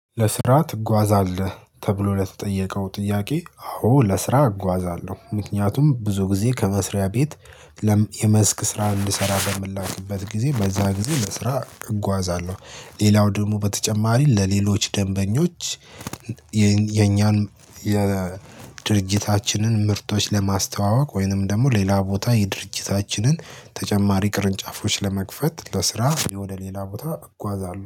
ለስራ ትጓዛለህ ተብሎ ለተጠየቀው ጥያቄ አዎ ለስራ እጓዛለሁ ምክንያቱም ብዙ ጊዜ ከመስሪያ ቤት የመስክ ስራ እንድሰራ በምላክበት ጊዜ በዛ ጊዜ ለስራ እጓዛለሁ። ሌላው ደግሞ በተጨማሪ ለሌሎች ደንበኞች የኛን የድርጅታችንን ምርቶች ለማስተዋወቅ ወይንም ደግሞ ሌላ ቦታ የድርጅታችንን ተጨማሪ ቅርንጫፎች ለመክፈት ለስራ ወደ ሌላ ቦታ እጓዛለሁ